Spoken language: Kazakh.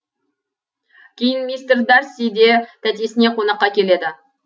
кейін мистер дарси де тәтесіне қонаққа келеді